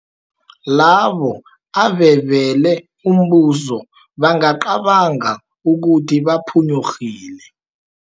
Labo abebele umbuso bangacabanga ukuthi baphunyurhile.